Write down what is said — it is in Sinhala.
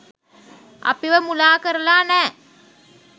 අපිව මුලා කරලා නෑ.